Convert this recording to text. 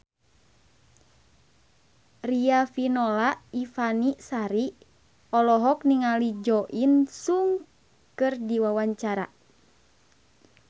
Riafinola Ifani Sari olohok ningali Jo In Sung keur diwawancara